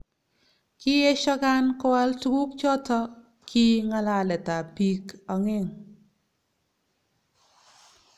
kiesho Khan koal tukuk choto ki ngalalet ab bik ongeng